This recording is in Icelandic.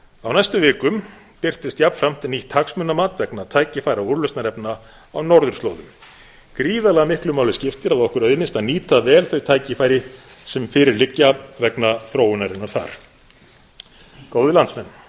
á næstu vikum birtist jafnframt nýtt hagsmunamat vegna tækifæra og úrlausnarefna á norðurslóðum gríðarlega miklu máli skiptir að okkur auðnist að nýta vel þau tækifæri sem fyrir liggja vegna þróunarinnar þar góðir landsmenn